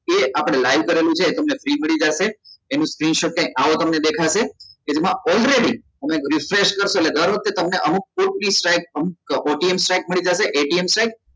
એ આપડે live કરેલું ચે આવ તમને free મળી જસે એનું screenshot કંઈક આવો તમને દેખાશે કે જેમાં already તમે refresh કરશો એટલે દર વખતે તમને અમુક ATM